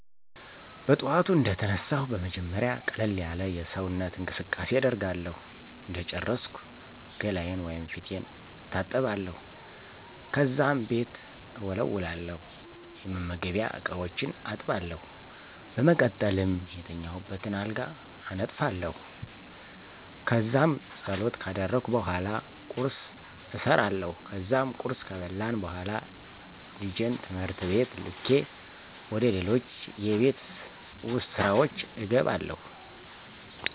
በጥዋቱ እንደተነሳሁ በመጀመሪያ ቀለል ያለ የሰውነት እንቅስቃሴ አደርጋለሁ እንደጨረስኩ ገላየን/ፊቴን እታጠባለሁ፣ ከዛም ቤት እወለዉላለሁ፣ የመመገቢያ እቃዎችን አጥባለሁ፣ በመቀጠልም የተኛሁበትን አልጋ አነጥፋለሁ። ከዛም ፀሎት ካደረግኩ በኃላ ቁርስ እሰራለሁ ከዛም ቁርስ ከበላን በኋላ ልጀን ትምህርት ቤት ልኬ ወደ ሌሎች የቤት ውስጥ ስራወች እገባለሁ።